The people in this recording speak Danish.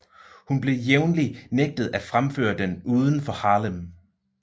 Hun blev jævnlig nægtet at fremføre den uden for Harlem